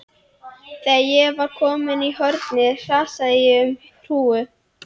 Þegar ég var komin í hornið hrasaði ég um hrúgu.